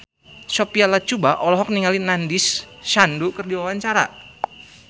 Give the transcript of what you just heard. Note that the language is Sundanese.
Sophia Latjuba olohok ningali Nandish Sandhu keur diwawancara